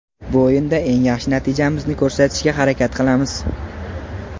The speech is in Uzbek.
Bu o‘yinda eng yaxshi natijamizni ko‘rsatishga harakat qilamiz.